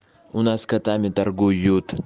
у нас котами торгуют